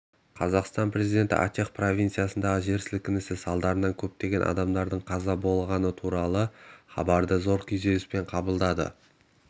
қазақстан президенті ачех провинциясындағы жер сілкінісі салдарынан көптеген адамның қаза болғаны туралы хабарды зор күйзеліспен қабылдады